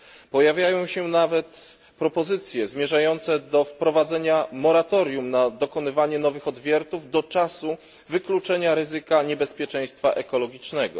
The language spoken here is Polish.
Pojawiają się nawet propozycje zmierzające do wprowadzenia moratorium na dokonywanie nowych odwiertów do czasu wykluczenia ryzyka niebezpieczeństwa ekologicznego.